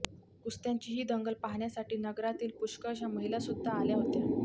कुस्त्यांची ही दंगल पाहण्यासाठी नगरातील पुष्कळशा महिलासुद्धा आल्या होत्या